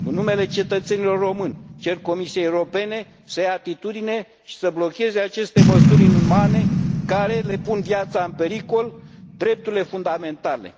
În numele cetățenilor români cer Comisiei Europene să ia atitudine și să blocheze aceste măsuri inumane care le pun viața în pericol, drepturile fundamentale.